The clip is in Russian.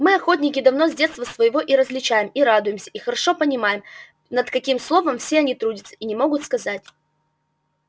мы охотники давно с детства своего и различаем и радуемся и хорошо понимаем над каким словом все они трудятся и не могут сказать